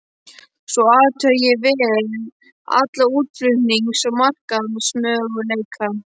Svo athugaði ég vel alla útflutnings- og markaðsmöguleika.